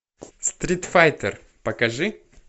стритфайтер покажи